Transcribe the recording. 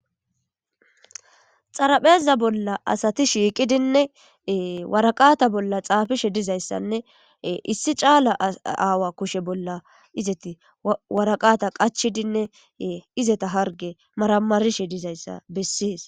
Xarapheza bolla asati shiiqidinne waraqata bolla xaafishe dizayssanne issi caala aawa kushe bolla izeti waraqata qachidinne izeta harge maramarishe dizayssa bessees